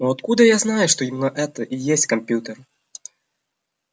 но откуда я знаю что именно это и есть компьютер